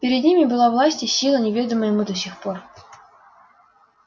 перед ним были власть и сила неведомые ему до сих ггор